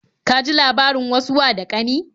Ka ji labarin wasu wa da ƙani?